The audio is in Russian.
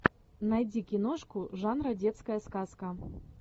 найди киношку жанра детская сказка